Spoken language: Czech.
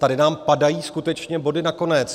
Tady nám padají skutečně body na konec.